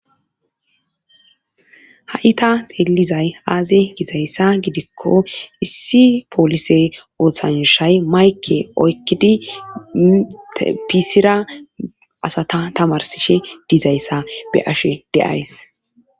ha7i ta xeelizay aaze gizayssa gidikko issi poolise ooththanushay mayke oykkidi pisira asata tamarsishe dizayssa be'ashe de'ays